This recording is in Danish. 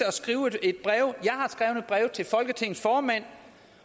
at skrive et brev til folketingets formand